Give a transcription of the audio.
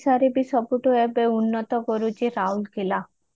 ଓଡିଶାରେ ବି ସବୁଠୁ ଅଧିକ ଉନ୍ନତ କରୁଛି ରାଉରକେଲା